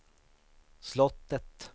slottet